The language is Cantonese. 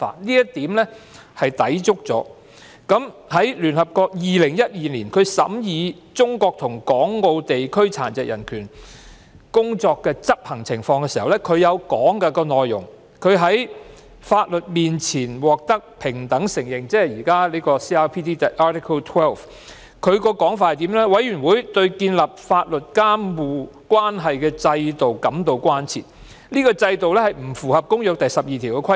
2012年，聯會國殘疾人權利委員會審議中國及港澳地區殘疾人權工作的執行情況，相關文件提到"在法律面前獲得平等承認"，即 CRPD 第十二條，亦提到"委員會對建立法律監護關係的制度感到關切，該制度不符合《公約》第十二條的規定。